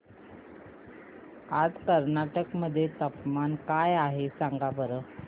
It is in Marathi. आज कर्नाटक मध्ये तापमान काय आहे सांगा बरं